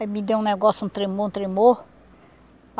Aí me deu um negócio, um tremor, um tremor.